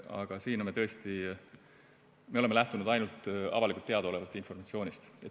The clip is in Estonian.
Aga siiani me tõesti oleme lähtunud ainult avalikult teadaolevast informatsioonist.